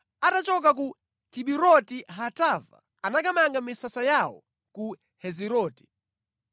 Atachoka ku Kiburoti-Hataava anakamanga misasa yawo ku Heziroti.